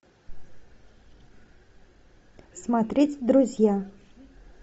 смотреть друзья